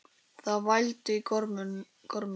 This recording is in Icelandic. Það vældi í gormum.